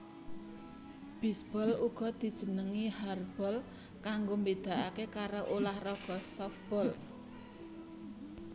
Bisbol uga dijenengi hardball kanggo mbedakake karo ulah raga sofbol